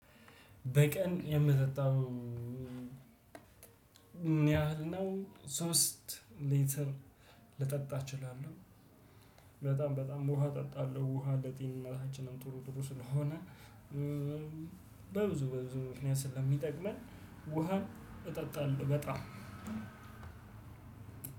በቀን የምጠጣው ምን ያህል ነው? ሶስት ሊተር ልጠጣ እችላለሁ። በጣም በጣም ውሃ እጠጣለሁ ውሃ ለጤንነታችንም ጥሩ ጥሩ ስለሆነ በብዙ በብዙ ምክንያት ስለሚጠቅመን ውሃን እጠጣለሁ። በጣም